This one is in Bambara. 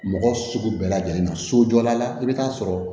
Mɔgɔ sugu bɛɛ lajɛlen na sojɔla la i bɛ taa sɔrɔ